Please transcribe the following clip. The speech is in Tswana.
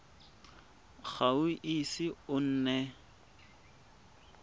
ga o ise o nne